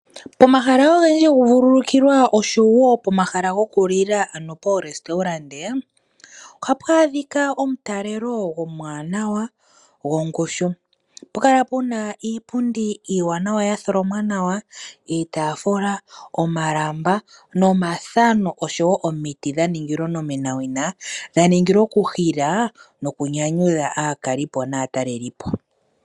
Pomahala ogendji gokuvululukilwa noshowo pomahala gokulila ohapu adhika omutalelo omuwanawa gongushu. Ohapu kala pu na iipundi iiwanawa ya tholomwa nawa, iitaafula, omalamba, omathano nomiti dha ningilwa onomenawina, dha ningilwa okuhila nokunyanyudha aakalipo naatalelipo.